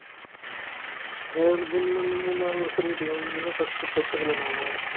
இன்னும் மூணு மூணு மூணு நாலு வருஷம் இருக்குதுங்க உங்களுக்குத்தான் first first கல்யாணம் ஆகும்